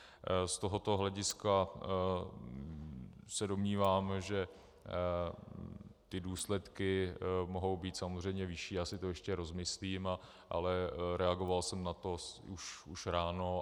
Z tohoto hlediska se domnívám, že ty důsledky mohou být samozřejmě vyšší, já si to ještě rozmyslím, ale reagoval jsem na to už ráno.